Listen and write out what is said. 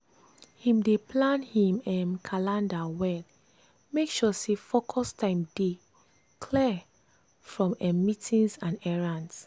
him dey plan him um calender well make sure say focus time dey clear from um meetings and errands.